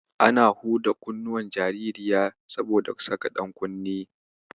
Ana huda kunnuwan jaririya saboda saka ɗankunne.